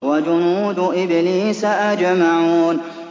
وَجُنُودُ إِبْلِيسَ أَجْمَعُونَ